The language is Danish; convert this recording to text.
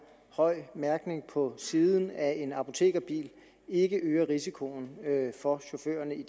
høj mærkning på siden af en apotekerbil ikke øger risikoen for chaufførerne